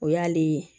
O y'ale ye